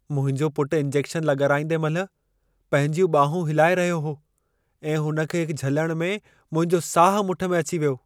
मुंहिंजो पुटु इंजेक्शन लॻाराईंदे महिल पंहिंजियूं बांहूं हिलाए रहियो हो ऐं हुन खे झलणु में मुंहिंजो साहु मुठि में अची वियो।